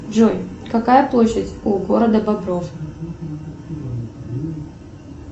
джой какая площадь у города бобров